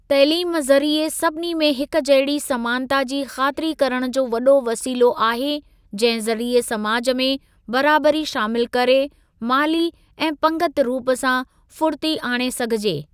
तइलीम ज़रिए सभिनी में हिक जहिड़ी समानता जी ख़ातिरी करण जो वॾो वसीलो आहे, जहिं ज़रिए समाज में बराबरी शामिल करे, माली ऐं पंगिती रूप सां फुड़िती आणे सघिजे।